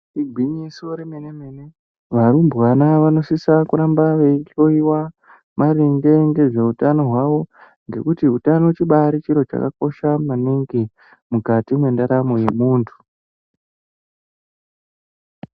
Igwinyiso re mene mene varumbwana vano sisa kuramba veyi hloyiwa maringe nge zveutano hwawo ngekuti utano chibai chiro chakabai kosha maningi mukati mwe ndaramo ye muntu.